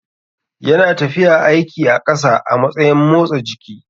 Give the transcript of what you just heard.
Yana tafiya aiki a ƙasa a matsayin motsa jiki.